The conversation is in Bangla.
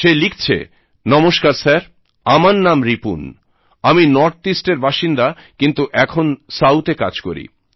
সে লিখছে নমস্কার স্যার আমার নাম রিপুনআমি নর্থ ইস্টের বাসিন্দা কিন্তু এখন সাউথে কাজ করি